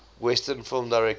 western film directors